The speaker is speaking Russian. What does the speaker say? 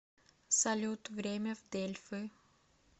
салют время в дельфы